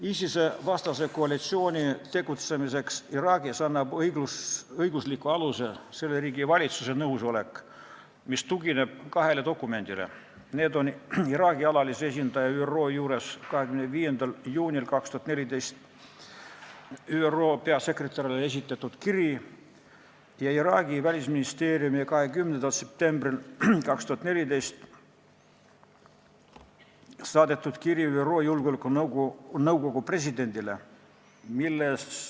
ISIS-e vastase koalitsiooni tegutsemiseks Iraagis annab õiglusliku aluse selle riigi valitsuse nõusolek, mis tugineb kahele dokumendile, milleks on Iraagi alalise esindaja ÜRO juures 25. juunil 2014 esitatud kiri ÜRO peasekretärile ja Iraagi välisministeeriumi 20. septembril 2014 saadetud kiri ÜRO Julgeolekunõukogu presidendile.